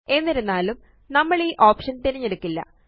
എന്നിരുന്നാലും നമ്മളീ ഓപ്ഷൻ തിരഞ്ഞെടുക്കില്ല